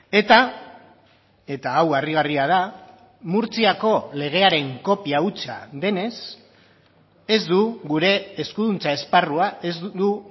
eta eta hau harrigarria da murtziako legearen kopia hutsa denez ez du gure eskuduntza esparrua ez du